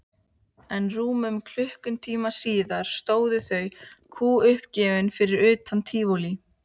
En rúmum klukkutíma síðar stóðu þau kúguppgefin fyrir utan Tívolí.